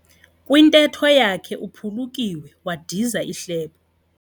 Kwintetho yakhe uphulukiwe wadiza ihlebo.